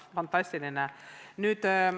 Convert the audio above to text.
Fantastiline!